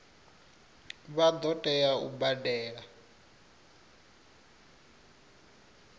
vha ḓo tea u badela